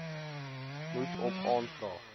moet op aanvraag